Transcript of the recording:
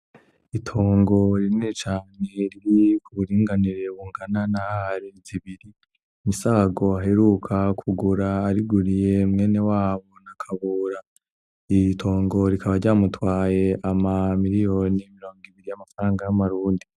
Itongo rinini cane riri ku buringanire bungana na are zibiri, MISAGO aheruka kugura ariguriye mwenewabo KABURA, iri tongo rikaba ryamutwaye ama miliyoni mirongo ibiri y'amafaranga y'amarundi.